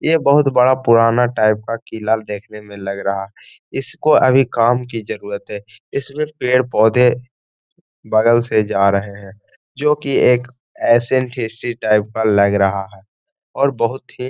ये बोहुत बड़ा पुराना टाइप का किला देखने में लग रहा है। इसको अभी काम की जरुरत है। इसमें पेड़-पौधे बगल से जा रहे हैं जो कि एक एसिएंट हिस्ट्री टाइप का लग रहा है और बोहुत ही --